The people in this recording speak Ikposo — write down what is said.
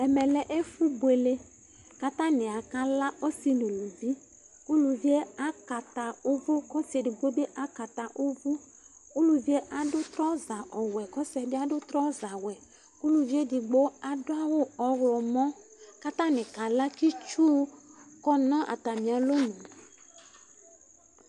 ɛmɛ lɛ ɛfu buélé katani ka lă ɔsi nu uluvi uluvié akata uvu kɔ ɔsié digbo bi akata uvu uluvi adu trɔza ɔwɛ kɔ ɔsiɛ bi adu trɔza wɛ ku uluvi édigbo adu awu ɔwlɔ mɔ katani ka lă ki tsu kɔ na atamia lonu